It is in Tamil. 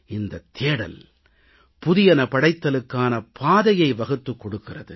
இந்தத் தேடல் புதியன படைத்தலுக்கான பாதையை வகுத்துக் கொடுக்கிறது